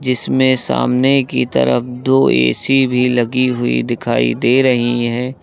इसमें सामने की तरफ दो ए_सी भी लगी हुई दिखाई दे रही हैं।